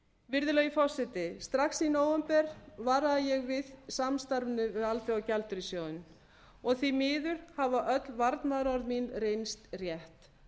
virðulegi forseti strax í nóvember varaði ég við samstarfinu við alþjóðagjaldeyrissjóðinn og því miður hafa öll varnaðarorð mín reynst rétt